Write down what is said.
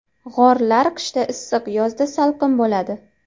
G‘orlar qishda issiq, yozda salqin bo‘ladi.